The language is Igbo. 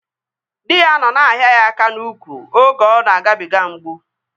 Dị ya nọ na-ahịa ya aka n'úkwù oge ọ na-agabiga mgbu